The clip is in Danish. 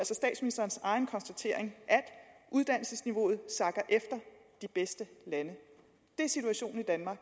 statsministerens egen konstatering uddannelsesniveauet sakker efter de bedste lande det er situationen i danmark